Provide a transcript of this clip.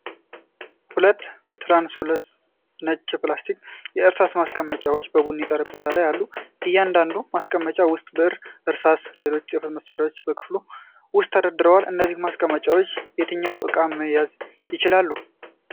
ሁለት ትራንስሉሰንት ነጭ የፕላስቲክ የእርሳስ ማስቀመጫዎች በቡኒ ጠረጴዛ ላይ አሉ። በእያንዳንዱ ማስቀመጫ ውስጥ ብዕሮች፣ እርሳሶችና ሌሎች የጽሕፈት መሣሪያዎች በክፍሎቹ ውስጥ ተደርድረዋል። እነዚህ ማስቀመጫዎች የትኞቹን እቃዎች መያዝ ይችላሉ?